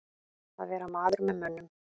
Að vera maður með mönnum